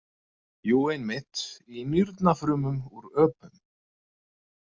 Jú, einmitt í nýrnafrumum úr ÖPUM.